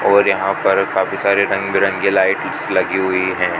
और यहां पर काफी सारे रंग बिरंगे लाइट्स लगी हुई है।